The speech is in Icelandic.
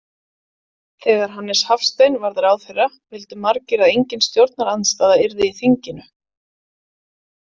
Þegar Hannes Hafstein varð ráðherra vildu margir að engin stjórnarandstaða yrði í þinginu.